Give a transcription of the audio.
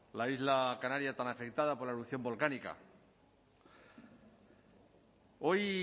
la isla canaria tan afectada por la erupción volcánica hoy